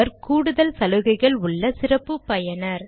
அவர் கூடுதல் சலுகைகள் உள்ள சிறப்பு பயனர்